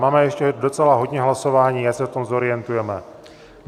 Máme ještě docela hodně hlasování, ať se v tom zorientujeme.